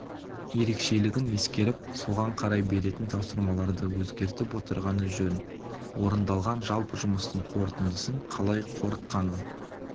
ерекшелігін ескеріп соған қарай беретін тапсырмаларды өзгертіп отырғаны жөн орындалған жалпы жұмыстың қорытындысын қалай қорытқанын